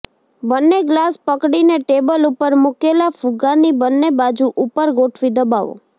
બંને ગ્લાસ પકડીને ટેબલ ઉપર મૂકેલા ફુગ્ગાની બંને બાજુ ઉપર ગોઠવી દબાવો